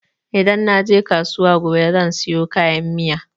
Idan naje kasuwa gobe zan sayo kayan miya.